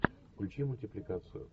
включи мультипликацию